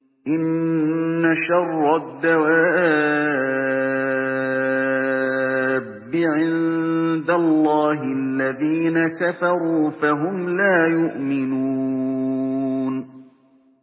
إِنَّ شَرَّ الدَّوَابِّ عِندَ اللَّهِ الَّذِينَ كَفَرُوا فَهُمْ لَا يُؤْمِنُونَ